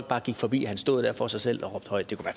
bare gik forbi og han stod der for sig selv og råbte højt det kunne